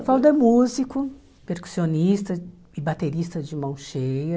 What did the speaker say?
O Evaldo é músico, percussionista e baterista de mão cheia.